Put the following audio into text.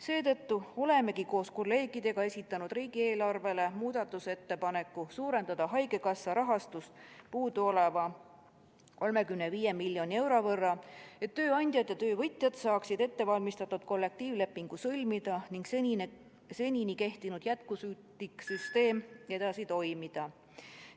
Seetõttu olemegi koos kolleegidega esitanud riigieelarve kohta muudatusettepaneku suurendada haigekassa rahastust puuduoleva 35 miljoni euro võrra, et tööandjad ja töövõtjad saaksid ettevalmistatud kollektiivlepingu sõlmida ning seni kehtinud jätkusuutlik süsteem saaks edasi toimida.